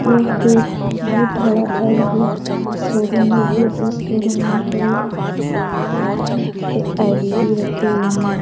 यह एक बहुत बड़ा एल.जी शोरूम है जो इस शोरूम में बहुत बड़े बड़े अल.इ.डी रखे हुए है।